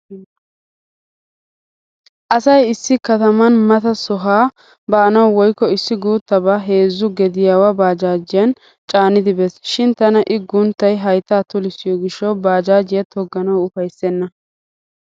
Asay issi kataman mata sohaa baanawu woykko issi guuttabaa heezzu gediyaawa baajaajiyan caanidi bees. Shin tana i gunttay hayttaa tulissiyo gishshawu baajaajiya togganawu ufayssenna.